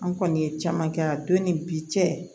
An kɔni ye caman kɛ a don ni bi cɛ